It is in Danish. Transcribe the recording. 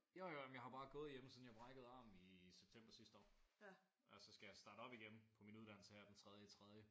Jo jo men jeg har jo bare gået hjemme siden jeg brækkede armen i september sidste år. Og så skal jeg starte op på min uddannelse igen her den tredje i tredje